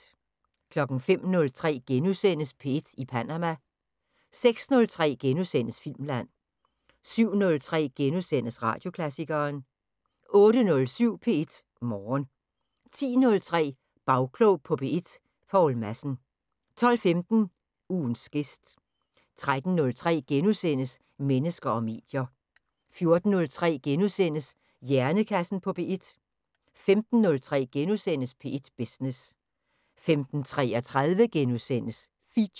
05:03: P1 i Perama * 06:03: Filmland * 07:03: Radioklassikeren * 08:07: P1 Morgen 10:03: Bagklog på P1: Poul Madsen 12:15: Ugens gæst 13:03: Mennesker og medier * 14:03: Hjernekassen på P1 * 15:03: P1 Business * 15:33: Feature *